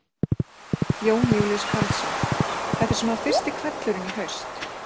Jón Júlíus Karlsson: Þetta er svona fyrsti hvellurinn í haust?